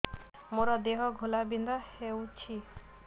ମୋ ଦେହ ଘୋଳାବିନ୍ଧା ହେଉଛି